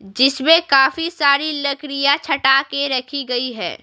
जिसमें काफी सारी लकड़ियां छटा के रखी गई है।